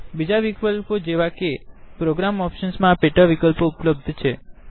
બીજા વિકલ્પ જેવા કે પ્રોગ્રામ ઓપ્શન મા પેટા વિકલ્પો ઉપલબ્ધ છે